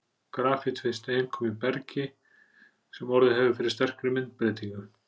Grafít finnst einkum í bergi sem orðið hefur fyrir sterkri myndbreytingu.